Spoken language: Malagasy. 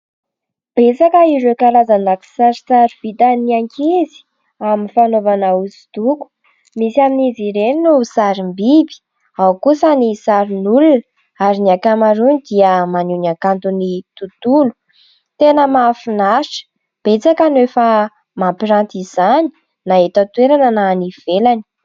Betsaka ireo karazana kisarisary vita ny ankizy amin'ny fanaovana hosodoko. Misy amin'izy ireny no sarim-biby ao kosa sarin'olona ary ny ankamarony dia maneho ny hakanto ny tontolo. Tena mahafinaritra, betsaka no efa mampiranty izany na eto an-toerana na any ivelany.